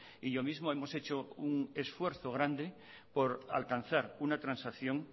y yo mismo hemos hecho un esfuerzo grande por alcanzar una transacción